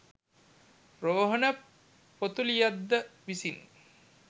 රෝහණ පොතුලියද්ද විසින්